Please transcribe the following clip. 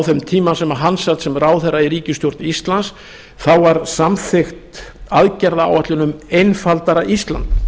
þeim tíma sem hann sat sem ráðherra í ríkisstjórn íslands þá var samþykkt aðgerðaáætlun um einfaldara ísland